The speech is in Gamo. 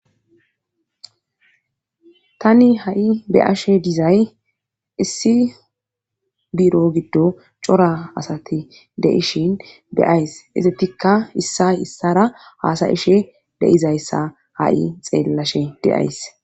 Tani ha7i beyashe dizay issi biro giddo cora asati de7ishin beyays izetikka issa issara haasayishe deizayssa ha7i xeellashe de7ays